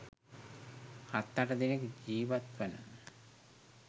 හත් අට දෙනෙක් ජීවත් වන